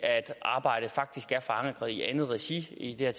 arbejdet faktisk er forankret i andet regi i det her